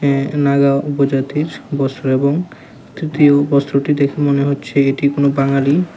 এ নাগা উপজাতির বস্ত্র এবং তৃতীয় বস্ত্রটি দেখে মনে হচ্ছে এটি কোনও বাঙালি।